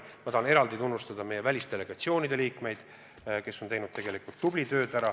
Ma tahan eraldi tunnustada meie välisdelegatsioonide liikmeid, kes tegelikult on teinud ära tubli töö.